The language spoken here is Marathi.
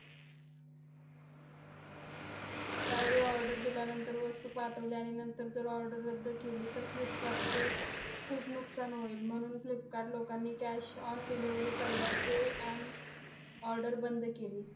त्यावेळी order दिल्यानंतर वस्तू पाठवली, आणि नंतर जर order रद्द केली तर फ्लिपकार्टचे खूप नुकसान होईल. म्हणून फ्लिपकार्ट लोकांनी cash on delivery पर्याय pay and order बंद केली.